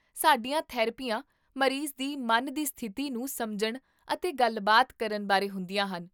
ਸਾਡੀਆਂ ਥੈਰੇਪੀਆਂ ਮਰੀਜ਼ ਦੀ ਮਨ ਦੀ ਸਥਿਤੀ ਨੂੰ ਸਮਝਣ ਅਤੇ ਗੱਲਬਾਤ ਕਰਨ ਬਾਰੇ ਹੁੰਦੀਆਂ ਹਨ